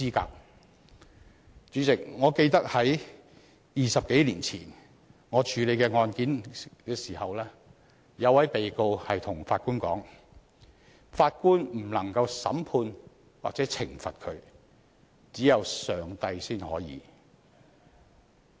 代理主席，我記得20多年前當我處理一宗案件時，一名被告向法官說法官不能審判或懲罰他，只有上帝才可以。